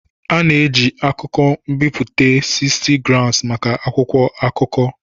A na-eji akụkọ m'biputa 60gms maka akwụkwọ akụkọ.